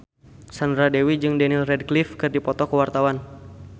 Sandra Dewi jeung Daniel Radcliffe keur dipoto ku wartawan